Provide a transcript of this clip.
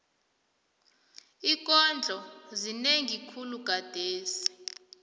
iinkondlo zinengi khulu gadesi